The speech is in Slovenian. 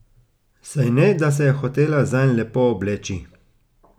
Saj ne, da se je hotela zanj lepo obleči.